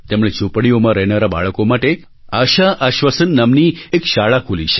તેમણે ઝૂંપડીઓમાં રહેનારાં બાળકો માટે આશા આશ્વાસન નામની એક શાળા ખોલી